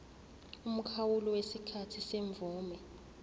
umkhawulo wesikhathi semvume